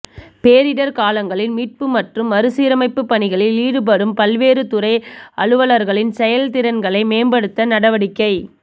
பேரிடர் காலங்களில் மீட்பு மற்றும் மறுசீரமைப்பு பணிகளில் ஈடுபடும் பல்வேறு துறை அலுவலர்களின் செயல் திறன்களை மேம்படுத்த நடவடிக்கை